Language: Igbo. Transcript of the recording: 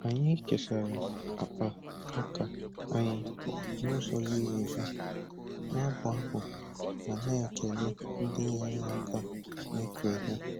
Anyị kesara akpa ọka anyị n'ụzọ ziri ezi, na-abụ abụ ma na-ekele ndị nyere aka n'ịkụ ihe.